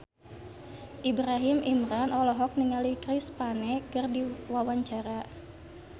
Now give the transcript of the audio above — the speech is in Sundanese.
Ibrahim Imran olohok ningali Chris Pane keur diwawancara